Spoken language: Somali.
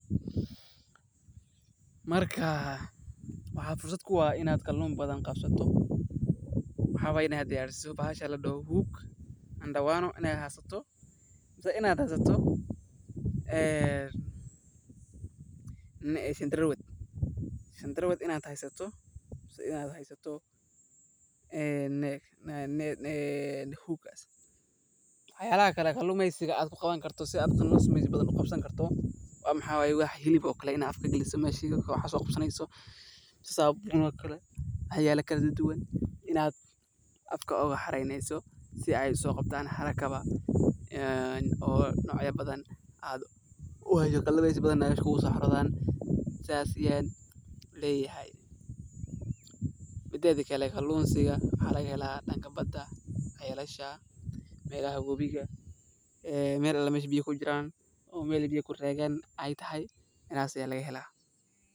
Marka waxaa fursad kuu ah in aad kallun badan qabsato, maxaa waaye in aad diyariso bahasha la dhoho hook, Intee in la eeg ay u adag tahay kalluumaysiga waxay ku xidhan tahay qaabka aad u isticmaasho qalabkaada, goobta aad dooratay, iyo xeeladaha aad ku dhaqanto, waayo kalluunka maahan mid fudud oo la heli karo haddii aadan si taxadar leh u diyaarin, sidaa darteed waxa lagama maarmaan ah inaad barato habka ugu fiican ee lagu soo dhex maro kalluunka, ayadoo la eegaya xilliga maalinta iyo habka cuntada lagu kala sooco, taasoo keeneysa inaad doorato meelaha kalluunka ku badan yihiin, sidoo kale waa inaad isku daydaa inaad isticmaasho qalabka ugu habboon ee kalluumaysiga sida shabakado tayo leh, jiilooyin kala duwan, iyo waxyaabo kale oo lagu kala jarayo kalluunka, waxaana muhiim ah inaad samayso isbedelko joogto ah xeeladahaaga si aad u hesho natiijooyin ka wanaagsan.